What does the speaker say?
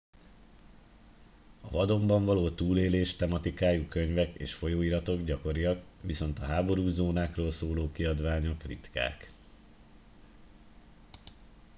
a vadonban való túlélés tematikájú könyvek és folyóiratok gyakoriak viszont a háborús zónákról szóló kiadványok ritkák